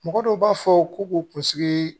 Mɔgɔ dɔw b'a fɔ ko k'u kunsigi